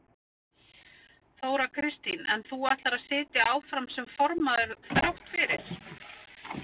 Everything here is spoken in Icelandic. Þóra Kristín: En þú ætlar að sitja áfram sem formaður þrátt fyrir?